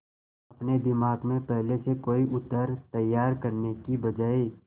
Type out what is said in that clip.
अपने दिमाग में पहले से कोई उत्तर तैयार करने की बजाय